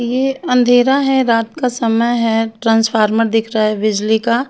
ये अँधेरा है रात का समय है ट्रांसफार्मर दिख रहा है बिजिली का--